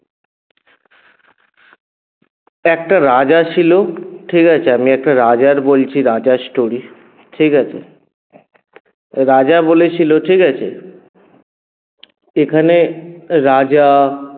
একটা রাজা ছিল ঠিকাছে আমি একটা রাজার বলছি রাজার story ঠিকাছে রাজা বলেছিল ঠিকাছে এখানে রাজা